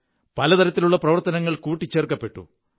പല തരത്തിലുള്ള പ്രവര്ത്ത നങ്ങൾ കൂട്ടിച്ചേര്ക്കനപ്പെട്ടു